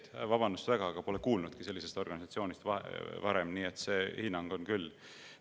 [Vabandust väga, aga ma pole varem sellisest organisatsioonist kuulnudki, nii et see hinnang on küll meelevaldne.